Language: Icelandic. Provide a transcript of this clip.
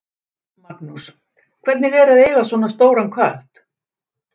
Magnús: Hvernig er að eiga svona stóran kött?